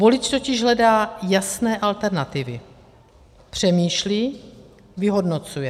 Volič totiž hledá jasné alternativy, přemýšlí, vyhodnocuje.